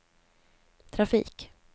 trafik